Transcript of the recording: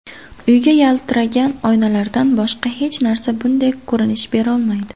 Uyga yaltiragan oynalardan boshqa hech narsa bunday ko‘rinish berolmaydi.